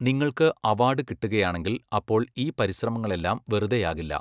നിങ്ങൾക്ക് അവാഡ് കിട്ടുകയാണെങ്കിൽ അപ്പോൾ ഈ പരിശ്രമങ്ങളെല്ലാം വെറുതെയാകില്ല.